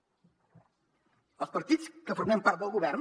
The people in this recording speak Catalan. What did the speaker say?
els partits que formem part del govern